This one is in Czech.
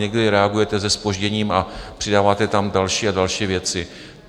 Někdy reagujete se zpožděním a přidáváte tam další a další věci.